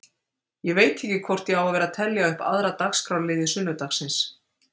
Ég veit ekki hvort ég á að vera að telja upp aðra dagskrárliði sunnudagsins.